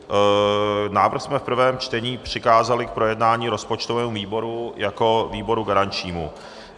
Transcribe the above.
Návrh jsme v prvém čtení přikázali k projednání rozpočtovému výboru jako výboru garančnímu.